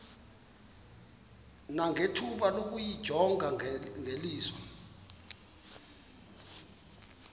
nangethuba lokuyijonga ngeliso